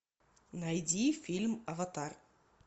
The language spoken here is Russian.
найди фильм аватар